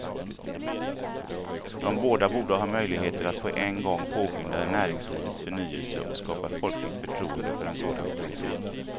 De båda borde ha möjligheter att på en gång påskynda näringslivets förnyelse och skapa folkligt förtroende för en sådan politik.